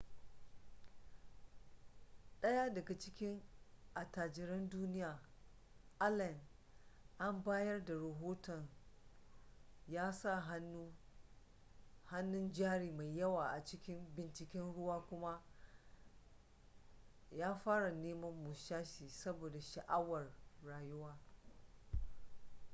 daya daga cikin attajiran duniya allen an bayar da rahoton ya sa hannun jari mai yawa a cikin binciken ruwa kuma ya fara neman musashi saboda sha'awar rayuwa